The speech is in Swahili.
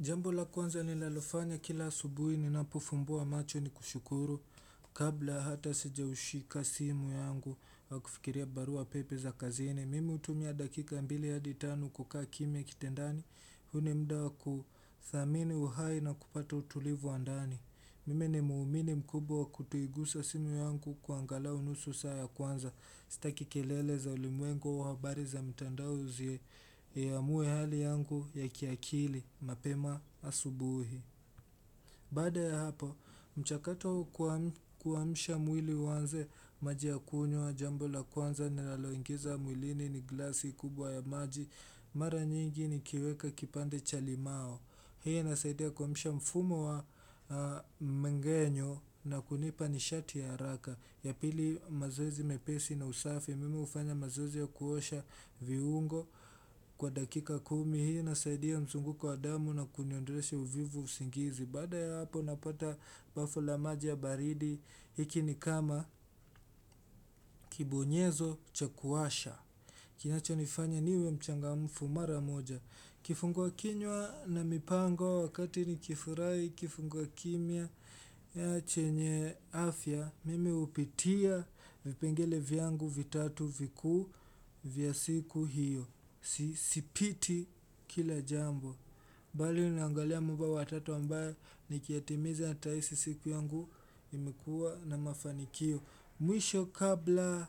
Jambo la kwanza ninalofanya kila asubuhi ninapo fumbua macho ni kushukuru kabla hata sija ushika simu yangu wa kufikiria barua pepe za kazini. Mimi hutumia dakika mbili hadi tano kukaa kimwa kitendani, huu ni mda wa kuthamini uhai na kupata utulivu andani. Mimi ni muumini mkubwa kutoigusa simu yangu kwa angalau nusu saa ya kwanza Sitaki kelele za ulimwengu au habari za mtandao zi ya amuwe hali yangu ya kiakili mapema asubuhi Baada ya hapo, mchakato kuamsha mwili uanze maji ya kunywa jambo la kwanza Nelaloingiza mwilini ni glasi kubwa ya maji mara nyingi ni kiweka kipande cha limao Hii nasaidia kuamisha mfumo wa mgenyo na kunipa nishati ya raka Yapili mazoezi mepesi na usafi, mime ufanya mazoezi ya kuosha viungo kwa dakika kumi Hii nasaidia mzungu wa damu na kuniondolesha uvivu usingizi Baada ya hapo napata bafu la maja baridi, hiki ni kama kibonyezo chakuasha Kinacho nifanya niwe mchangamfu mara moja Kifungwa kinywa na mipango wakati ni kifurai kifungwa kimia ya chenye afya, mime upitia vipengele vyangu vitatu viku vya siku hiyo. Sipiti kila jambo. Bali unangalia mambo wa tatu ambayo nikiatimiza nitahisi siku yangu imekua na mafanikio. Mwisho kabla